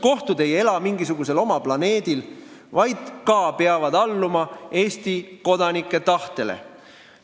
Kohtud ei ela mingisugusel oma planeedil, vaid peavad alluma Eesti kodanike tahtele.